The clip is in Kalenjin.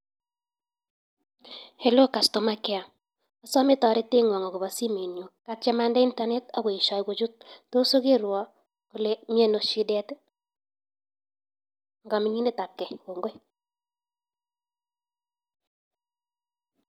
Helo kastomakea, asome toretengwong akobo simenyun, katiem andee internet ak koesho kochut tos okerwon ole miono shidet I,en kaminginetab gei, kongoi